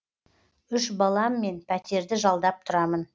үш баламмен пәтерді жалдап тұрамын